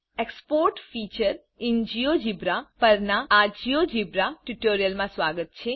export feature in GeoGebra પરના આ GeoGebra ટ્યુટોરીયલમાં સ્વાગત છે